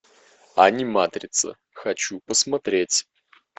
аниматрица хочу посмотреть